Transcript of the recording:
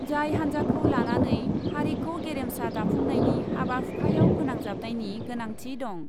जाय हान्जाखौ लानानै हारिखौ गेरेमसा दाफुंनायनि हाबा हुखायाव फोनांजाबनायनि गोनांथि दं।